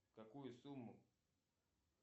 какую сумму